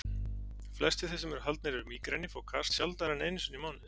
Flestir þeir sem haldnir eru mígreni fá kast sjaldnar en einu sinni í mánuði.